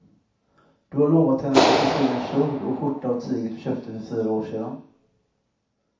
Du har lovat henne att du ska sy en kjol och skjorta av tyget du köpte för fyra år sedan.